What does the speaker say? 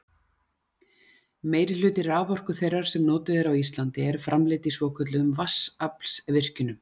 Meirihluti raforku þeirrar sem notuð er á Íslandi er framleidd í svokölluðum vatnsaflsvirkjunum.